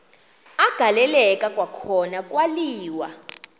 agaleleka kwakhona kwaliwa